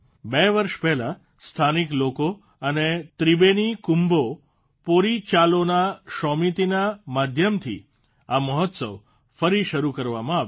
બે વર્ષ પહેલાં સ્થાનિક લોકો અને ત્રિબેની કુમ્ભો પૉરિચાલોના શૉમિતિના માધ્યમથી આ મહોત્સવ ફરી શરૂ કરવામાં આવ્યો